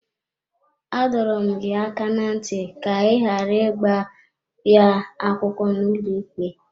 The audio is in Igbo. Adọrọ m gị aka ná ntị ka ị ghara ịgba ya akwụkwọ n’ụlọikpe!